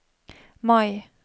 Mai